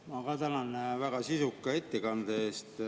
Ma ka tänan väga sisuka ettekande eest.